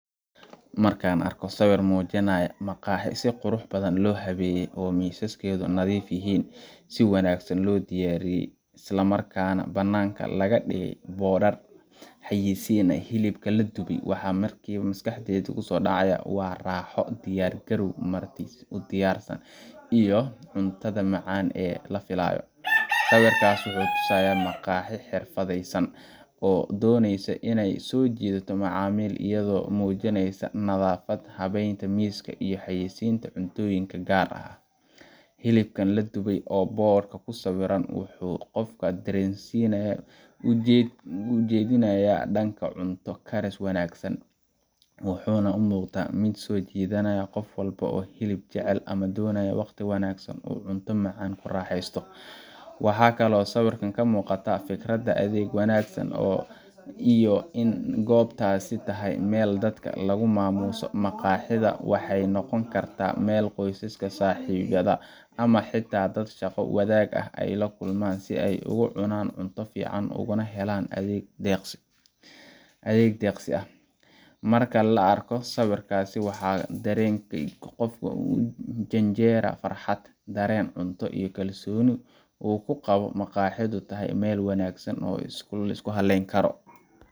Marka aan arko sawir muujinaya maqaaxi si qurux badan loo habeeyey oo miisaskeedu nadiif yihiin, si wanaagsan loo diyaariyay, isla markaana bannaanka laga dhigay boorar xayeysiinaya hilib la dubay, waxa markiiba maskaxdayda ku soo dhacaya waa raaxo, diyaar garow marti u diyaarsan, iyo cuntada macaan ee la filayo. Sawirkaas wuxuu tusayaa maqaaxi xirfadaysan oo doonaysa inay soo jiidato macaamiil, iyadoo muujinaysa nadaafad, habeynta miiska, iyo xayeysiinta cuntooyinka gaar ah. Hilibka la dubay ee boodhka ku sawiran wuxuu qofka dareenkiisa u jeedinayaa dhanka cunto karis wanaagsan, wuxuuna u muuqdaa mid soo jiidanaya qof walba oo hilib jecel ama doonaya waqti wanaagsan oo uu cunto macaan ku raaxaysto. Waxaa kaloo sawirka ka muuqda fikradda adeeg wanaagsan iyo in goobtaasi tahay meel dadka lagu maamuuso. Maqaaxida waxay noqon kartaa meel qoysaska, saaxiibada, ama xitaa dad shaqo wadaaga ah ay ku kulmaan si ay ugu cunaan cunto fiican ugana helaan adeeg deeqsi ah. Marka la arko sawirkaas, waxaa dareenka qofku u janjeeraa farxad, dareen cunto, iyo kalsooni uu ku qabo in maqaaxidu tahay meel wanaagsan oo la isku halleyn karo